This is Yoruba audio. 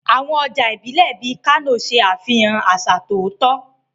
Àwọn ọjà ìbílẹ̀ bíi Kano ṣe àfihàn àṣà ọ̀tọ̀ọ̀tọ̀.